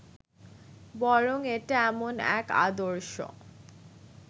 বরং এটা এমন এক আদর্শ